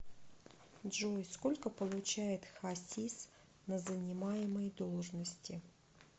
джой сколько получает хасис на занимаемой должности